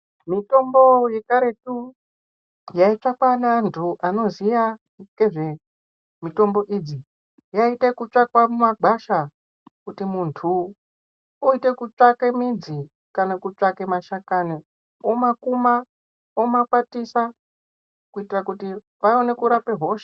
Mitombo yekaretu yaitsvakwa neantu anoziya mitombo idzi. Yaite ekutsvakwa mumagwasha kuti muntu oite kutsvake midzi kana kutsvake mashakani omakuma omakwatisa kuitira kuti vaone kurape hosha.